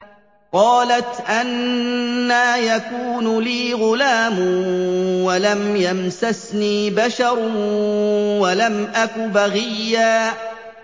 قَالَتْ أَنَّىٰ يَكُونُ لِي غُلَامٌ وَلَمْ يَمْسَسْنِي بَشَرٌ وَلَمْ أَكُ بَغِيًّا